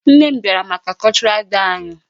Nne m bịara maka cultural day anyị.